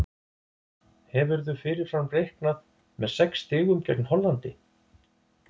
Hefðirðu fyrirfram reiknað með sex stigum gegn Hollandi?